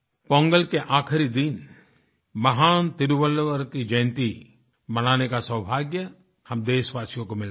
पोंगल के आख़िरी दिन महान तिरुवल्लुवर की जयन्ती मनाने का सौभाग्य हम देशवासियों को मिलता है